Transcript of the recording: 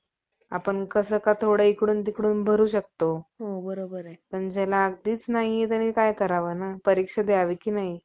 क्षुद्रांचे गळे कापण्यास मुलान्यास मागे हटविले. यावर सर्व लोकांनी सरकारच्या, सरकारची वाट न पाहता या ग्रामराक्षसास कमल,